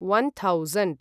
one thousand